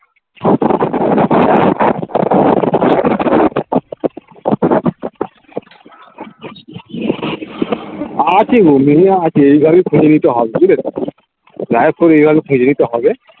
আছে গো মেয়ে আছে এইভাবেই খুঁজে নিতে হবে বুঝলে যাইহোক করে এইভাবে খুঁজে নিতে হবে